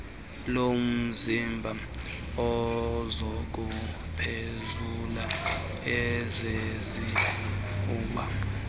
lomzimba ezokuphefumla ezesifuba